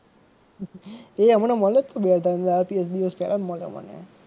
એ હમણાં મળ્યો જ તો મળ્યો મને.